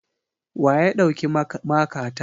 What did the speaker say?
Wa ya ɗauki makata?